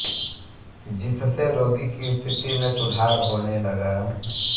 जिससे रोगी की स्थिति में सुधार होने लगा